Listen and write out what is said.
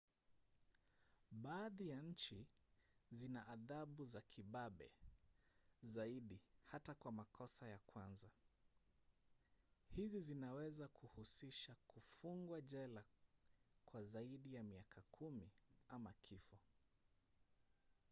baadhi ya nchi zina adhabu za kibabe zaidi hata kwa makosa ya kwanza; hizi zinaweza kuhusisha kufungwa jela kwa zaidi ya miaka 10 ama kifo